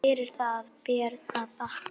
Fyrir það ber að þakka.